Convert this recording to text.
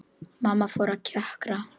Mamma fór að kjökra.